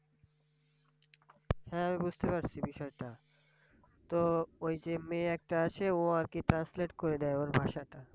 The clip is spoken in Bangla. হ্যাঁ! বুঝতে পারছি বিষয়টা। তো ওই যে মেয়ে একটা আছে ও আর কি Translate করে দেয় ওর ভাষাটা